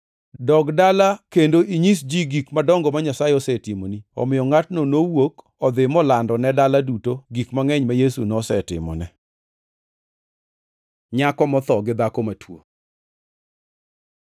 “Dogi dala kendo inyis ji gik madongo ma Nyasaye osetimoni.” Omiyo ngʼatno nowuok odhi molando ne dala duto gik mangʼeny ma Yesu nosetimone. Nyako motho gi dhako matuo